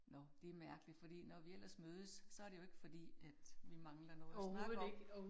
Nåh det mærkeligt, fordi når vi ellers mødes, så det jo ikke fordi, at vi mangler noget at snakke om